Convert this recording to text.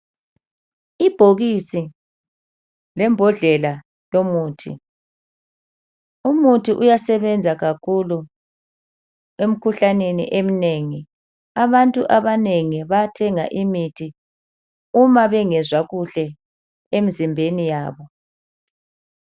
Ibhokisi lembondlela yomuthi, umuthi uyasebenza kakhulu emkhuhlaneni eminengi. Abantu abanengi bayathenga imithi uma bengezwa kuhle emizimbeni yabo.